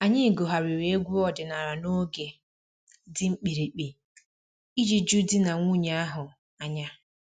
Anyị gụgharịrị egwu ọdịnala n'oge dị mkpirikpi iji ju di na nwunye ahụ anya